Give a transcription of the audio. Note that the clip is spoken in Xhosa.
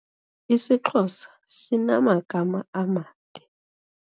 IsiXhosa sinamagama amade.